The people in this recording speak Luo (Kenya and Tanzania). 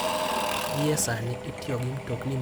Gie sani, itiyo gi mtokni maonge derep e piny mangima.